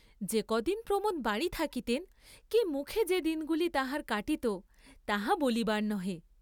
যে কদিন প্রমোদ বাড়ী থাকিতেন কি মুখে যে দিনগুলি তাহার কাটিত তাহা বলিবার নহে।